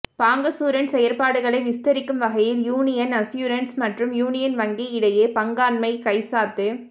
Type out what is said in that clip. bancassurance செயற்பாடுகளைவிஸ்தரிக்கும் வகையில் Union Assurance மற்றும் யூனியன் வங்கி இடையேபங்காண்மைகைச்சாத்து